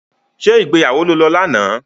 Ṣé ìgbéyàwó lo lọ lánàá?